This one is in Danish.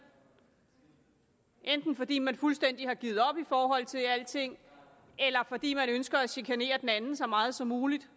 enten fordi man fuldstændig har givet op i forhold til alting eller fordi man ønsker at chikanere den anden så meget som muligt